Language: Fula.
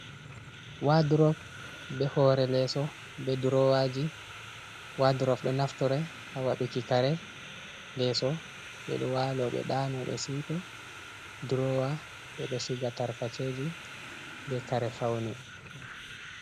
Waadrop, be hoore leeso, be duroowaaji, waadrop ɗo naftore ha waɗuki kare, leeso ɓe ɗo waalo, ɓe ɗaano, ɓe siwto. duroowa ɓe ɗo siga tarkacheji be kare fawne.